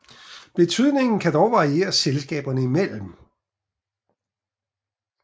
Betydningen kan dog variere selskaberne imellem